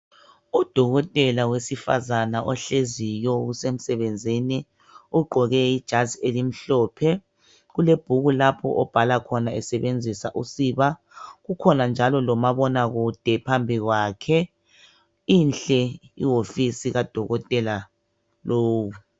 Odokotela wesifazana ohleziyo osemsebenzini ogqoke ijazi elimhlophe kulebhuku lapho obhala khona besebenzisa usiba kukhona njalo lomabonakude phambi kwakhe, inhle ihofisi kadokotela lowu.